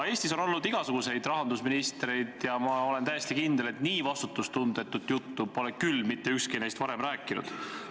Meil on olnud igasuguseid rahandusministreid, aga ma olen täiesti kindel, et nii vastutustundetut juttu pole küll mitte ükski neist varem rääkinud.